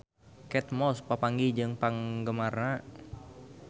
Kate Moss papanggih jeung penggemarna